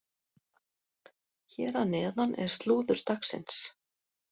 Hér að neðan er slúður dagsins.